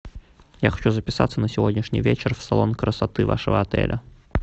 я хочу записаться на сегодняшний вечер в салон красоты вашего отеля